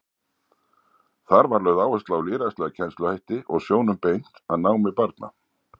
Þar var lögð áhersla á lýðræðislega kennsluhætti og sjónum beint að námi barna.